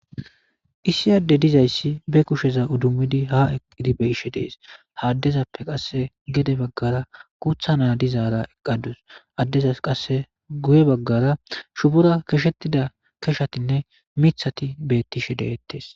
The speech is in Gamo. Issi Adey de'izaysi ba kusheza idimidi ha eqidi beyishe Desi,ha adezappe qase gede bagara guutha na dizara eqadusi,adezasi qase guye bagara shubora keshetida keshatinne mithati beetishe de'etesi.